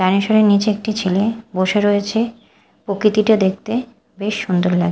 ডাইনোসরের নীচে একটি ছেলে বসে রয়েছে প্রকৃতিটা দেখতে বেশ সুন্দর লাগ--